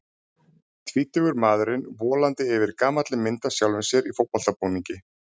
Tvítugur maðurinn volandi yfir gamalli mynd af sjálfum sér í fótboltabúningi.